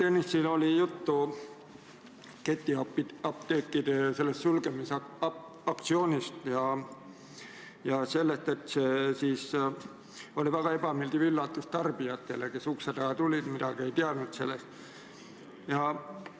Ennist oli juttu ketiapteekide sulgemisaktsioonist ja sellest, et see oli väga ebameeldiv üllatus tarbijatele, kes ukse taha tulid – nad ei teadnud sellest midagi.